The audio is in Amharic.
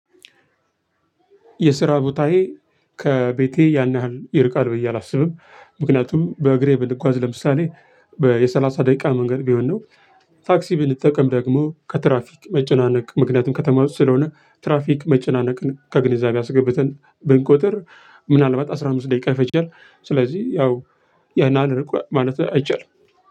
የስራ ቦታዬ ከቤቴ ያን ያህል ይርቃል ብዬ አላስብም ምክንያቱም በእግሬ ብጓዝ ለምሳሌ በየሰላሳ ደቂቃ መንገድ ቢሆን ነው። ፋክሲ ብንጠቀም ደግሞ ከትራፊክ መጨናነቅ ምክንያቱም ከተማው ስለሆነ ትራፊክ መጨናነቅን ከግንዛቤ አስገብተን ብንቆጥር ታክሲ ብንጠቀም ደግሞ ከትራፊክ መጨናነቅ ምክንያቱም ከተማው ስለሆነ ትራፊክ መጨናነቅን ከግንዛቤ አስገብተን ብንቆጥር